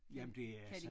Jamen det er så